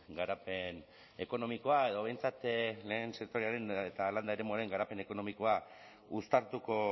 garapen ekonomikoa edo behintzat lehen sektorearen eta landa eremuaren garapen ekonomikoa uztartuko